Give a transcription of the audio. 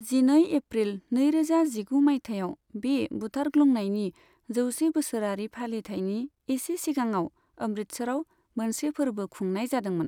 जिनै एप्रिल नैरोजा जिगु मायथाइआव बे बुथारग्लुंनायनि जौसे बोसोरारि फालिथायनि एसे सिगाङाव अमृतसराव मोनसे फोर्बो खुंनाय जादोंमोन।